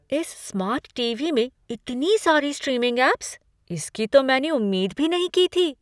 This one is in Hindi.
इस स्मार्ट टी.वी. में इतनी सारी स्ट्रीमिंग ऐप्स! इसकी तो मैंने उम्मीद भी नहीं की थी।